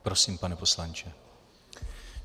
Prosím, pane poslanče.